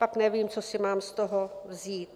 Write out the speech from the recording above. Tak nevím, co si mám z toho vzít.